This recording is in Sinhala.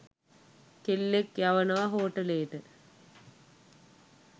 කෙල්ලෙක්‌ යවනවා හෝටලේට